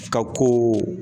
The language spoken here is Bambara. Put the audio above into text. Ka ko o